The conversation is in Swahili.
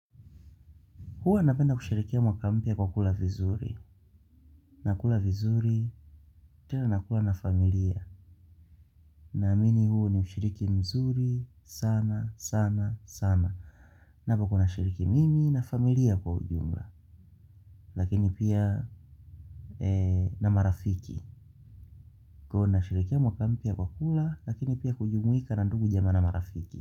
Huwa napenda kusherehekea mwaka mpya kwa kula vizuri. Nakula vizuri tena nakula na familia. Na amini huo ni ushiriki mzuri sana, sana, sana. Napo kuwa nashiriki mimi na familia kwa ujumla. Lakini pia na marafiki. Kwahio nasherehekea mwaka mpya kwa kula, lakini pia kujumuika na ndugu jamaa na marafiki.